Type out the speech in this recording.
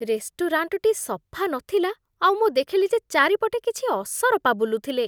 ରେଷ୍ଟୁରାଣ୍ଟଟି ସଫା ନଥିଲା ଆଉ ମୁଁ ଦେଖିଲି ଯେ ଚାରିପଟେ କିଛି ଅସରପା ବୁଲୁଥିଲେ ।